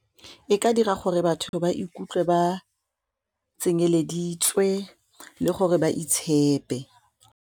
E ka dira gore batho ba ikutlwe ba tsenyeleditswe le gore ba itshepe.